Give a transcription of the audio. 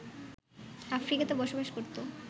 আফ্রিকাতে বসবাস করতো